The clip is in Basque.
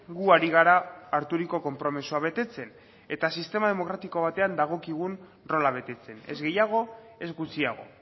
gu ari gara harturiko konpromisoa betetzen eta sistema demokratiko batean dagokigun rola betetzen ez gehiago ez gutxiago